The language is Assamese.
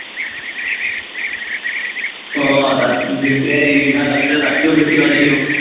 আহ তাত জিন্তুৱে যিমান পাতিছিলে, তাতকেও বেছি পাতি দিওঁ।